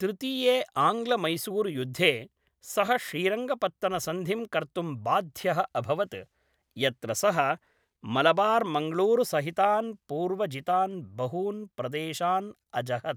तृतीये आङ्ग्लमैसूरुयुद्धे, सः श्रीरङ्गपत्तनसन्धिं कर्तुं बाध्यः अभवत्, यत्र सः मलबार्मङ्गळूरुसहितान् पूर्वजितान् बहून् प्रदेशान् अजहत्।